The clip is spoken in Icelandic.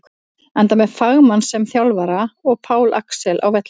Enda með fagmann sem þjálfara og Pál Axel á vellinum!